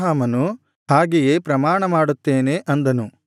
ಅದಕ್ಕೆ ಅಬ್ರಹಾಮನು ಹಾಗೆಯೇ ಪ್ರಮಾಣಮಾಡುತ್ತೇನೆ ಅಂದನು